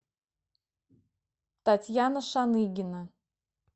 татьяна шаныгина